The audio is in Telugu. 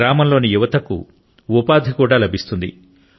గ్రామంలోని యువతకు ఉపాధి లభిస్తుంది